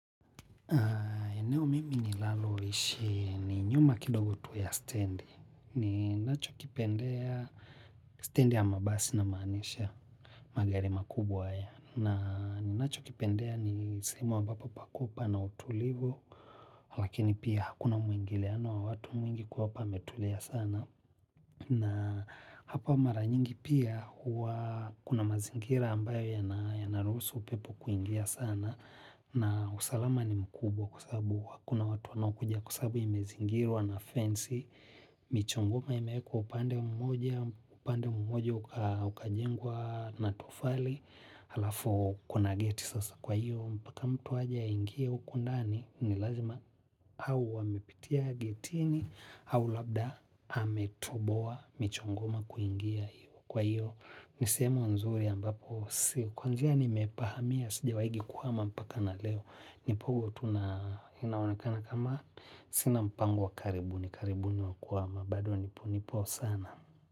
Eneo mimi nilalo ishi ni nyuma kidogo tu ya standi. Ni nacho kipendea standi ya mabasi na manisha. Magari makubwa haya. Na nacho kipendea ni semu ambapo pakupa na utulivu. Lakini pia hakuna mwingiliano wa watu mwingi kwa hapa ametulia sana na hapa maranyingi pia kuna mazingira ambayo yanarusu upepo kuingia sana na usalama ni mkubwa kwa sababu hakuna watu wanaokuja kwa sababu imezingirwa wa na fance michongoma imewekwa upande mmoja upande mmoja ukajengwa na tofali alafu kuna geti sasa kwa hiyo mpaka mtu aje aingie huko ndani ni lazima au amepitia gatini au labda ametoboa michongoma kuingia kwa hiyo ni sehemu nzuri ambapo si kwa njia nimepahamia sijawahingi kuhama mpaka na leo nipogo tu nainaonekana kama sina mpango wa karibuni karibuni wakuhama bado nipo nipo sana.